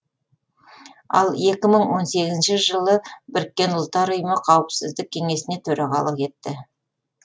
ал екі мың он сегізінші жылы біріккен ұлттар ұйымы қауіпсіздік кеңесіне төрағалық етті